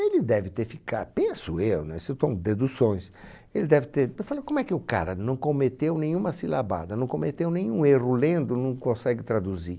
Ele deve ter ficad, penso eu, né? Se eu estou um deduções, ele deve ter, p falou como é que o cara não cometeu nenhuma silabada, não cometeu nenhum erro lendo, não consegue traduzir?